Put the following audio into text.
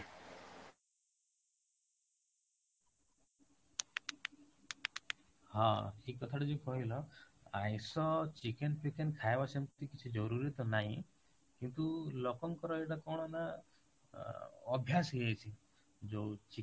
ହଁ, ଏଇ କଥାଟା ଯୋଉ କହିଲ ଆଇଁସ chicken ଖାଇବା ସେମିତି କିଛି ଜରୁରୀ ତ ନାଇଁ କିନ୍ତୁ ଲୋକଙ୍କର ଏଇଟା କଣ ନା ଅଭ୍ୟାସ ହେଇଯାଇଛି, ଯୋଉ